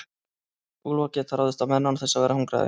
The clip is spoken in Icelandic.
úlfar geta ráðist á menn án þess að vera hungraðir